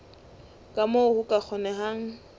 ka moo ho ka kgonehang